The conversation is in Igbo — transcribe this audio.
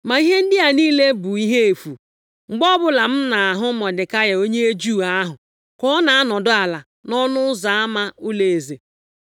Ma ihe ndị a niile bụ ihe efu mgbe ọbụla m na-ahụ Mọdekai onye Juu ahụ ka ọ na-anọdụ ala nʼọnụ ụzọ ama ụlọeze.”